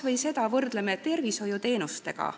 Vaatame tervishoiuteenuseid.